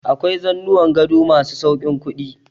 Akwai zanuwan gado ma su sauƙin kuɗi.